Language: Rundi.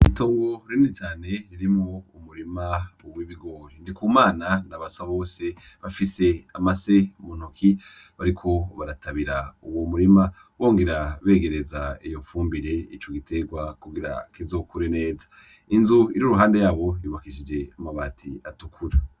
Itongo rinini cane ririmwo umurima w'ibigori, Ndikumana na Basabose bafise amase mu ntoki bariko baratabira uwo murima bongera begereza iyo fumbire ico giterwa kugira kizokure neza, inzu iri iruhande yabo yubakishije amabati atukura.